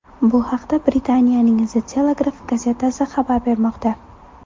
Bu haqda Britaniyaning The Telegraph gazetasi xabar bermoqda .